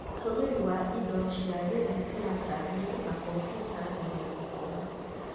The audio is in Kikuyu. Ũtũmĩri wa indo cia gĩthitima ta thimũ na kompiuta mbere ya gũkoma